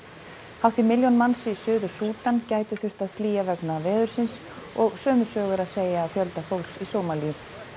hátt í milljón manns í Suður Súdan gætu þurft að flýja vegna veðursins og sömu sögu er að segja af fjölda fólks í Sómalíu